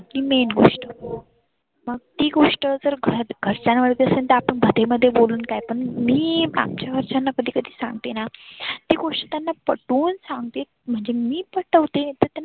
ती main गोष्ट मग ती गोष्ट जर घरात घरच्यांवरती आपण ते मध्ये बोलून काय पण मी घरच्यांना कधी कधी सांगते ना. ती गोष्ट त्यांना पटवुन सांगते. म्हणजे मी पटवते